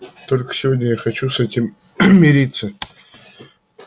только сегодня я не хочу с этим мириться